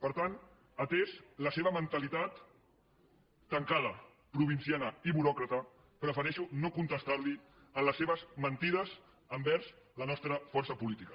per tant atesa la seva mentalitat tancada provinciana i buròcrata prefereixo no contestar li en les seves mentides envers la nostra força política